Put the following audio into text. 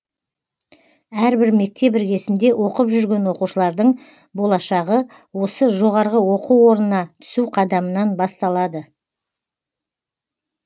әрбір мектеп іргесінде оқып жүрген оқушылардың болашағы осы жоо на түсу қадамынан басталады